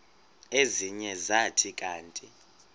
ezinye zathi kanti